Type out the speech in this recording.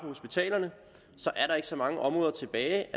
hospitalerne er der ikke så mange områder tilbage